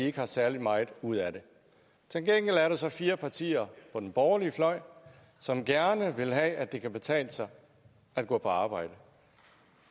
ikke har særlig meget ud af det til gengæld er der så fire partier på den borgerlige fløj som gerne vil have at det kan betale sig at gå på arbejde